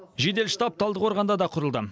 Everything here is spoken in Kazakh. жедел штаб талдықорғанда да құрылды